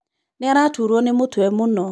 Nĩ araturũo nĩ mũtwe mũno.